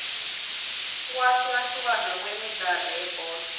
ukwahlukahlukana kwemidlalo yebholo